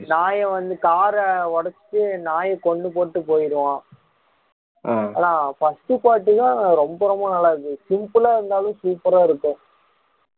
நாய வந்து கார ஒடச்சுட்டு நாயை கொன்னு போட்டுட்டு போயிடுவான் ஆனா first part தான் ரொம்ப ரொம்ப நல்லா இருந்துச்சு simple ஆ இருந்தாலும் super ஆ இருக்கும் revenge